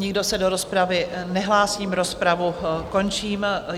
Nikdo se do rozpravy nehlásí, rozpravu končím.